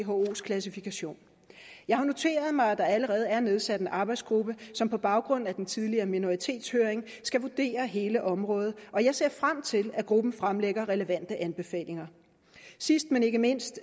whos klassifikation jeg har noteret mig at der allerede er nedsat en arbejdsgruppe som på baggrund af den tidligere minoritetshøring skal vurdere hele området og jeg ser frem til at gruppen fremlægger relevante anbefalinger sidst men ikke mindst